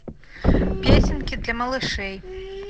песенки для малышей